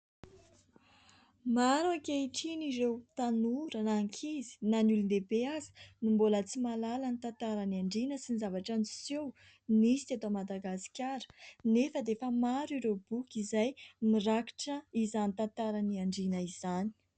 Maro ankehitriny ireo tanora na ankizy na ny olon-dehibe aza no mbola tsy mahalala ny tantara ny Andriana sy ny zavatra niseho nisy teto Madagasikara, nefa dia efa maro ireo boky izay mirakitra izany tantaran'ny Andriana izany.